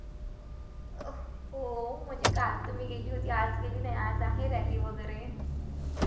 हो म्हणजे काल तर मी गेली होती आज गेली नाही आज आहे rally वगैरे